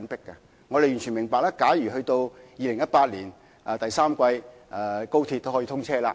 高鐵將於2018年第三季通車。